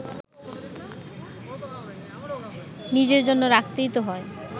নিজের জন্য রাখতেই তো হয়